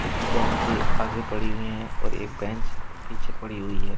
कुछ बेंचें आगे पड़ी हुई हैं और एक बेंच पीछे पड़ी हुई है।